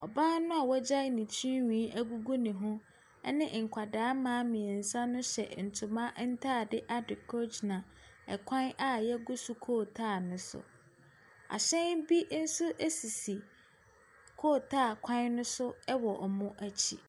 Ɔbaa no a wagya ne tirihwi agugu ne ho ne nkwadaa mmaa mmiɛnsa no hyɛ ntoma ntaadeɛ adekorɔ gyina kwan a yɛgu so kootaa no so. Ahyɛn bi nso sisi kootaa kwan ne so wɔ wɔn akyi.